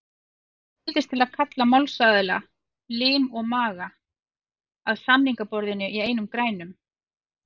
Ég neyðist til að kalla málsaðila, lim og maga, að samningaborðinu í einum grænum.